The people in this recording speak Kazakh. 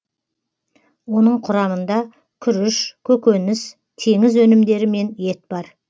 оның құрамында күріш көкөніс теңіз өнімдері мен ет бар